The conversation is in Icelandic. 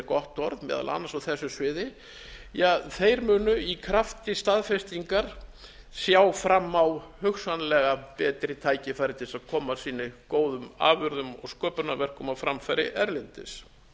gott orð meðal annars á þessu sviði munu í krafti staðfestingar sjá fram á hugsanlega betri tækifæri til að koma sínum góðum afurðum og sköpunarverkum á framfæri erlendis